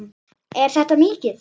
Er þetta mikið?